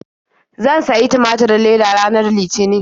Zan sayi tumaturin leda ranar Litinin.